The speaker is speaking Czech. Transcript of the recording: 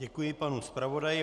Děkuji panu zpravodaji.